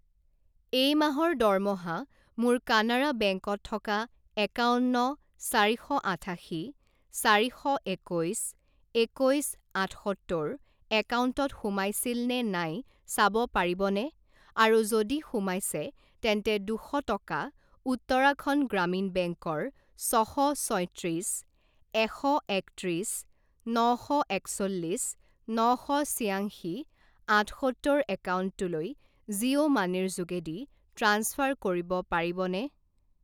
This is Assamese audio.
এই মাহৰ দৰমহা মোৰ কানাড়া বেংক ত থকা একাৱন্ন চাৰি শ আঠাশী চাৰি শ একৈছ একৈছ আঠসত্তৰ একাউণ্টত সোমাইছিল নে নাই চাব পাৰিবনে, আৰু যদি সোমাইছে তেন্তে দুশ টকা উত্তৰাখণ্ড গ্ৰামীণ বেংকৰ ছ শ ছয়ত্ৰিছ এশ একত্ৰিছ ন শ একচল্লিছ ন শ ছিংয়াশী আঠসত্তৰ একাউণ্টটোলৈ জিঅ' মানিৰ যোগেদি ট্ৰাঞ্চফাৰ কৰিব পাৰিবনে?